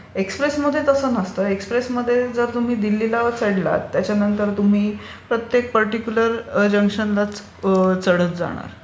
एक्सप्रेसमध्ये तसे नसते. एक्सप्रेसमध्ये जर तुम्ही दिल्लीला चढलात त्याच्यानंतर तुम्ही ओरत्येक पर्टीक्युलर जंक्शनलाच तुम्ही चढत जाणार.